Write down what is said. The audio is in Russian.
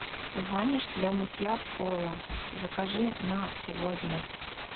ваниш для мытья пола закажи на сегодня